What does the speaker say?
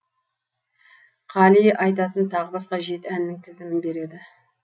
қали айтатын тағы басқа жеті әннің тізімін береді